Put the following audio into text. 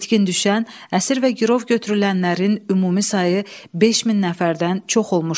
İtkin düşən, əsir və girov götürülənlərin ümumi sayı 5 min nəfərdən çox olmuşdu.